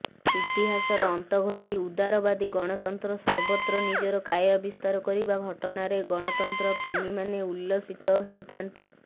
ଇତିହାସର ଅନ୍ତଘଟି ଉଦାରବାଦୀ ଗଣତନ୍ତ୍ର ସର୍ବତ୍ର ନିଜର କାୟା ବିସ୍ତାର କରିବା ଘଟଣାରେ ଗଣତନ୍ତ୍ରପ୍ରେମୀମାନେ ଉଲ୍ଲସିତ ହେଉଥାନ୍ତି